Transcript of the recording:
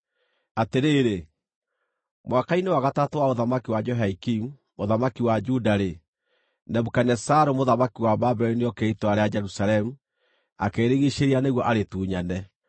Atĩrĩrĩ, mwaka-inĩ wa gatatũ wa ũthamaki wa Jehoiakimu, mũthamaki wa Juda-rĩ, Nebukadinezaru mũthamaki wa Babuloni nĩokire itũũra rĩa Jerusalemu, akĩrĩrigiicĩria nĩguo arĩtunyane.